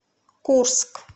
курск